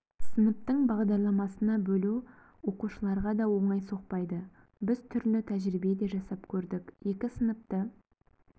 сыныптың бағдарламасына бөлу оқушыларға да оңай соқпайды біз түрлі тәжірибе де жасап көрдік екі сыныпты